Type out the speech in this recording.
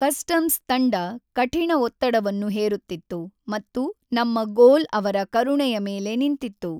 Customs ತಂಡ ಕಠಿಣ ಒತ್ತಡವನ್ನು ಹೇರುತ್ತಿತ್ತು ಮತ್ತು ನಮ್ಮ ಗೋಲ್ ಅವರ ಕರುಣೆಯ ಮೇಲೆ ನಿಂತಿತ್ತು.